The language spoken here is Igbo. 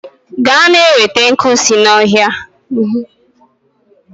Gaa na-enweta nkwu si n'ọhịa!